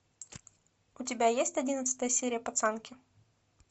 у тебя есть одиннадцатая серия пацанки